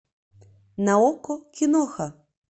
на окко киноха